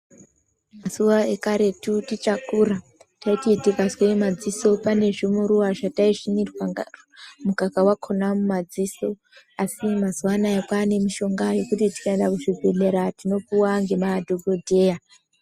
Mazuwa ekarutu tichakura, taiti tikazwe madziso pane zvimuruwa zvatasvinirwa mukaka wakhona mumadziso asi mazuwa anaa kwanemishonga yekuti tikaenda kuzvibhedhleya tinopuwa ngemadhokodheya.